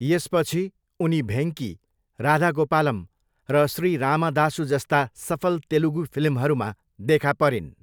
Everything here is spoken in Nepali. यसपछि, उनी भेङ्की, राधा गोपालम र श्री रामदासु जस्ता सफल तेलुगु फिल्महरूमा देखा परिन्।